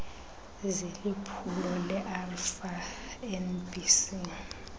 ziliphulo lerfa nbc